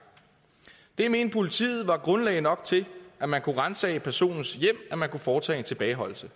det mente politiet var grundlag nok til at man kunne ransage personens hjem at man kunne foretage en tilbageholdelse